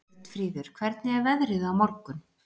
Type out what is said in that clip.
Björnfríður, hvernig er veðrið á morgun?